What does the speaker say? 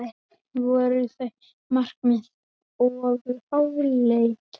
Voru þau markmið of háleit?